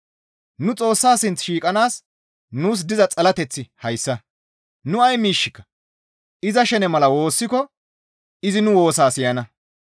Nu Xoossa sinth shiiqanaas nuus diza xalateththi hayssa; nu ay miishshika iza shene mala woossiko izi nu woosaa siyana.